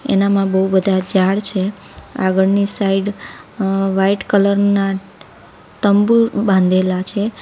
એનામાં બહુ બધા ઝાડ છે આગળની સાઈડ અ વાઈટ કલર ના તંબુ બાંધેલા છે.